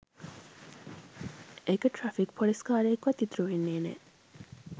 එක traffic police කාරයෙක්වත් ඉතුරු වෙන්නේ නෑ